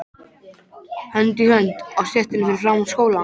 Hönd í hönd á stéttinni fyrir framan skólann.